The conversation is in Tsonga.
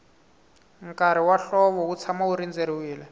nkarhi wa hlovo wu tshama wu rindzeriwile